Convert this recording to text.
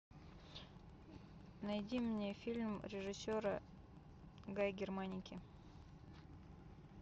найди мне фильм режиссера гай германики